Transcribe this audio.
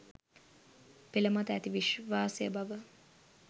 පෙළ මත ඇති විශ්වාසය බව